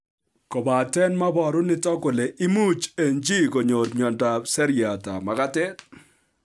Kobate meboru nitok kole imuch eng' chi konyor miondop seriatab magatet